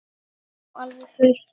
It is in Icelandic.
Já, alveg fullt.